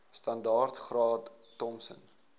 standaard graad thompson